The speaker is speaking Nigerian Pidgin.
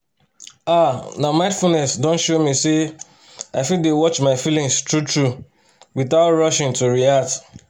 ah na mindfulness don show me say i fit dey watch my feelings true-true without rushing to react